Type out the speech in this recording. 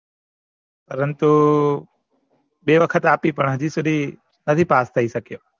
પરંતુ બે વખત પણ હજુ સુધી નથી પાસ થઇ શક્યા